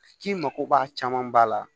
K'i mako b'a caman ba la